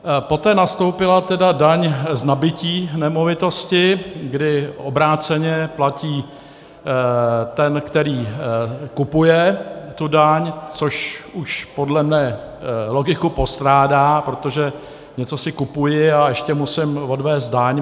Poté nastoupila tedy daň z nabytí nemovitosti, kdy obráceně platí ten, který kupuje, tu daň, což už podle mě logiku postrádá, protože něco si kupuji, a ještě musím odvést daň.